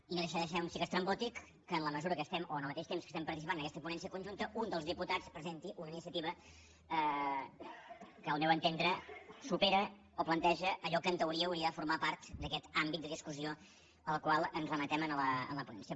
i no deixa de ser un xic estrambòtic que en la mesura que estem o en el mateix temps que estem participant en aquesta ponència conjunta un dels diputats presenti una iniciativa que al meu entendre supera o planteja allò que en teoria hauria de formar part d’aquest àmbit de discussió al qual ens remetem en la ponència